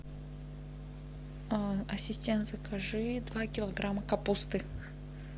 ассистент закажи два килограмма капусты